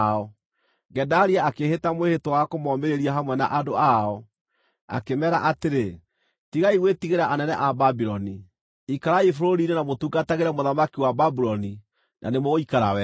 Gedalia akĩĩhĩta mwĩhĩtwa wa kũmoomĩrĩria hamwe na andũ ao, akĩmeera atĩrĩ, “Tigai gwĩtigĩra anene a Babuloni. Ikarai bũrũri-inĩ na mũtungatagĩre mũthamaki wa Babuloni, na nĩmũgũikara wega.”